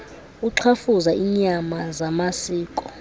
uxhafuza iinyama zamasiko